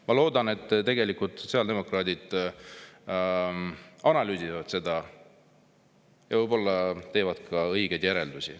Ma loodan, et sotsiaaldemokraadid nüüd analüüsivad seda ja võib-olla teevad ka õigeid järeldusi.